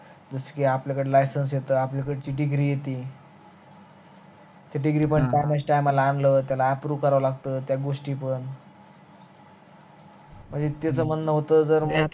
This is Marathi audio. जस कि आपल्याकड ती licence येत आपल्याकड ती degree येते ती degree पण time, time ला आणल त्याला approve कराव लागत त्या गोष्टी पण पण त्याच म्हणन होत जर